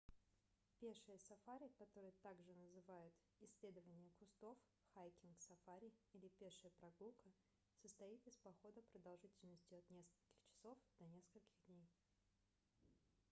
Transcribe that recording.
пешее сафари которое также называют исследование кустов хайкинг-сафари или пешая прогулка состоит из похода продолжительностью от нескольких часов до нескольких дней